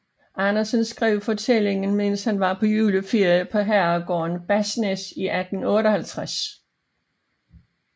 Andersen skrev fortællingen mens han var på juleferie på herregården Basnæs i 1858